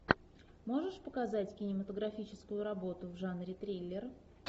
можешь показать кинематографическую работу в жанре триллер